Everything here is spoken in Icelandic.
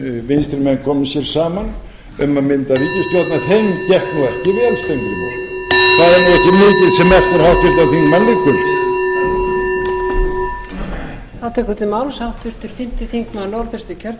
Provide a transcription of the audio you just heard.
vinstri menn komu sér saman um að mynda ríkisstjórn en þeim gekk nú ekki vel steingrímur það er nú ekki mikið sem eftir háttvirtan þingmann liggur